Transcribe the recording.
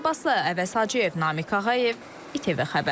Ləman Abbaslı, Əvəz Hacıyev, Namiq Ağayev, ITV xəbər.